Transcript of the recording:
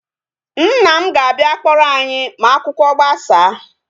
Nna m ga-abịa kpọrọ anyi ma akwụkwọ gbasaa